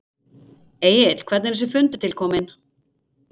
Egill hvernig er þessi fundur til kominn?